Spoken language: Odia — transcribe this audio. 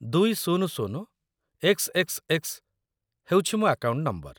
୨୦୦xxx ହେଉଛି ମୋ ଆକାଉଣ୍ଟ ନମ୍ବର |